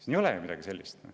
Siin ei ole ju midagi sellist.